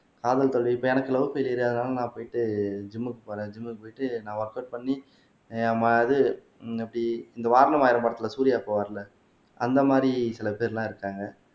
காதல் தோல்வி இப்ப எனக்கு லவ் பெயிலியர் அதனால நான் போயிட்டு ஜிம்க்கு போறேன் ஜிம்க்கு போயிட்டு நான் ஒர்கவுட் பண்ணி அஹ் ம` இது உம் இப்படி இந்த வாரணம் ஆயிரம் படத்துல சூர்யா போவாருல்ல அந்த மாதிரி சில பேர் எல்லாம் இருக்காங்க